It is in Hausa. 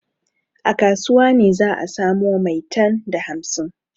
A kasuwa ne za a samo maitan da hamsin.